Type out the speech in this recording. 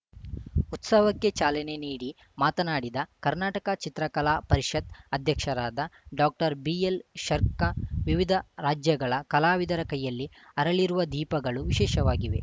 ಉತ್ಸವಕ್ಕೆ ಚಾಲನೆ ನೀಡಿ ಮಾತನಾಡಿದ ಕರ್ನಾಟಕ ಚಿತ್ರಕಲಾ ಪರಿಷತ್‌ ಅಧ್ಯಕ್ಷರಾದ ಡಾಕ್ಟರ್ಬಿಎಲ್‌ಶರ್ಕಾ ವಿವಿಧ ರಾಜ್ಯಗಳ ಕಲಾವಿದರ ಕೈಯಲ್ಲಿ ಅರಳಿರುವ ದೀಪಗಳು ವಿಶೇಷವಾಗಿವೆ